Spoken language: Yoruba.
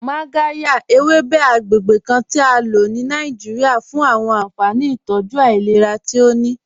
Magàryà, èwébè̩ àgbègbè̩ kàn ti à ló ní Nàìjíríà fún àwọn ànfàní ìtọ́jú ailẹ̀rà tí ó ní.